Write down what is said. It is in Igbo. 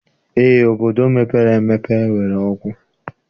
Eé, obodo mepere emepe nwere ọkụ